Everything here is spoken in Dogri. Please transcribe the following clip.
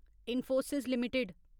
इन्फोसिस लिमिटेड